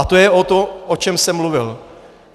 A to je o tom, o čem jsem mluvil.